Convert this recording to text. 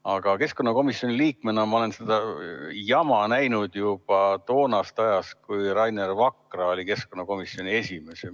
Aga keskkonnakomisjoni liikmena ma olen seda jama näinud juba ajast, kui Rainer Vakra oli keskkonnakomisjoni esimees.